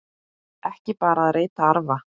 Ekki bara að reyta arfa!